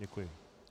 Děkuji.